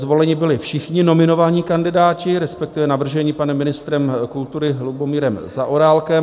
Zvoleni byli všichni nominovaní kandidáti, respektive navrženi panem ministrem kultury Lubomírem Zaorálkem.